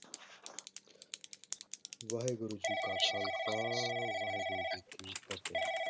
ਵਾਹਿਗੁਰੂ ਜੀ ਕਾ ਖ਼ਾਲਸਾ ਵਾਹਿਗੁਰੂ ਜੀ ਕੀ ਫ਼ਤਿਹ।